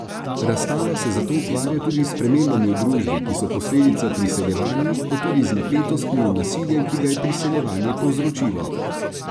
Razstava se zato ukvarja tudi s spremembami v družbi, ki so posledica priseljevanja, pa tudi z napetostmi in nasiljem, ki ga je priseljevanje povzročilo.